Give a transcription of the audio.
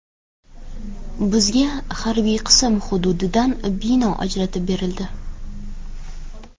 Bizga harbiy qism hududidan bino ajratib berildi.